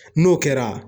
N'o kɛra